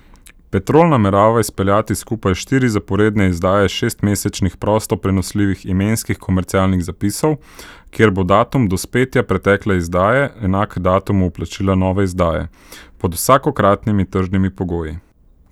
Petrol namerava izpeljati skupaj štiri zaporedne izdaje šestmesečnih prosto prenosljivih imenskih komercialnih zapisov, kjer bo datum dospetja pretekle izdaje enak datumu vplačila nove izdaje, pod vsakokratnimi tržnimi pogoji.